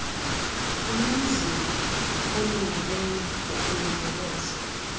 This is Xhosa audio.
unomzila olungileyo wokulondoloza